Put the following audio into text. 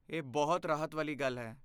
ਇਹ ਬਹੁਤ ਰਾਹਤ ਵਾਲੀ ਗੱਲ ਹੈ।